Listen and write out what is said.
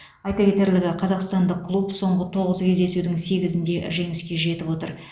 айта кетерлігі қазақстандық клуб соңғы тоғыз кездесудің сегізінде жеңіске жетіп отыр